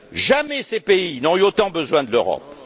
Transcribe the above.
Jamais ces pays n'ont eu autant besoin de l'Europe.